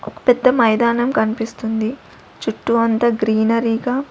ఒక పెద్ద మైదానం కన్పిస్తుంది చుట్టూ అంతా గ్రీనరీ గ--